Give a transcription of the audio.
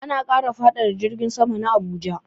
Ana kara faɗaɗa filin jirgin sama na Abuja.